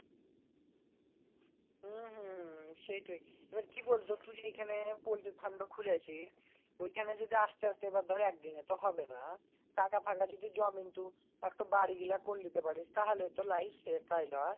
হম হম সেইটোই আবার কি বলতো তুই যে এইখানে poultry farm টা খুলে আছিস ঐখানে যদি আস্তে আস্তে ধড় একদিনে তো আর হবেনা টাকা ফাঁকা যদি জমে তো একটা বাড়ি গুলা করে নিতে পারিস তুই তাহলেই তো life set তাই নয়